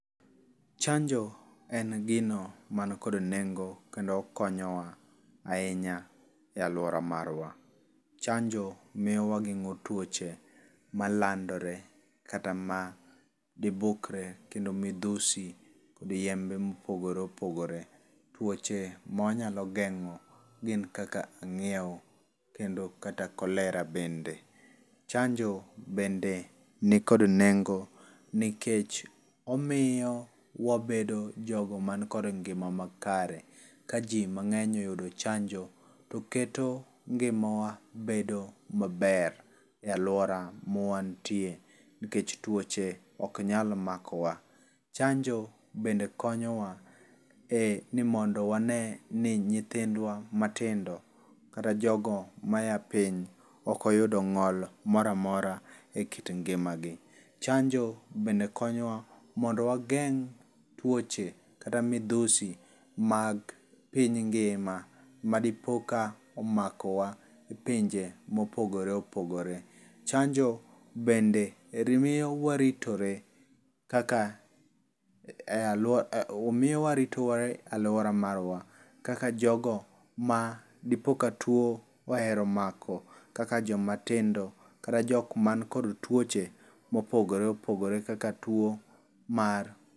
Chanjo en gino man kod nengo kendo konyo wa ahinya e aluora marwa. Chango miyo wagengo twoche malandore kata ma dibukre kendo midhusi kod yembe mopogore opogore. Tuoche ma wanyalo geng'o gin kaka ang'iew kendo kaka cholera bende. Chanjo bende ni kod nengo nikech omiyo wabedo jogo man kod ngima makare. Ka ji mang'eny oyudo chanjo to oketo ngima wa bedo maber e aluora ma wantie nikech tuoche ok nyal makowa. Chanjo bende konyowa e nimondo wane ni nyithindwa matindo kata jogo maya piny ok oyudo ng'ol moro amora e kit ngima gi. Chanjo bende konyowa mondo wageng' twoche kata midhusi mag piny ngima madipo ka omako wa pinje mopogore opogore. Chanjo bende miyo waritore kaka e aluoara miyo waritore e aluora marwa kaka jogo madipo ka two ohero mako kaka joma tindo kata jok man kod tuoche mopogore opogore kaka tuo mar.